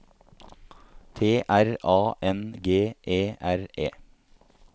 T R A N G E R E